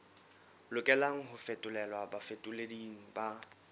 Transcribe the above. lokelang ho fetolelwa bafetoleding ba